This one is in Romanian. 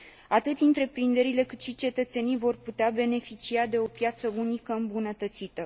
Atât întreprinderile, cât și cetățenii vor putea beneficia de o piață unică îmbunătățită.